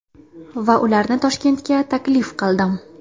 Va ularni Toshkentga taklif qildim.